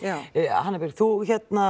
hanna Björk þú